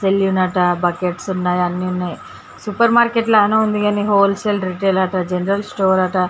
salon అటా buckets ఉన్నాయి అన్ని ఉన్నాయి సూపర్ మార్కెట్ లాగా ఉంది హోల్ సేల్ అండ్ రిటైర్లు మార్కెట్ ల జనరల్ స్టోర్ అట